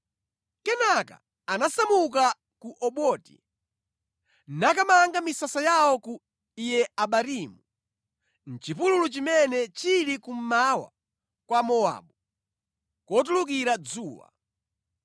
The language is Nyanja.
Kenaka anasamuka ku Oboti nakamanga misasa yawo ku Iye-Abarimu, mʼchipululu chimene chili kummawa kwa Mowabu, kotulukira dzuwa.